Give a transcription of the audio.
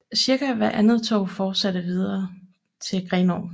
Cirka hvert andet tog fortsatte videre til Grenaa